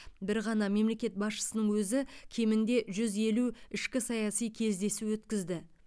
бір ғана мемлекет басшысының өзі кемінде жүз елу ішкі саяси кездесу өткізді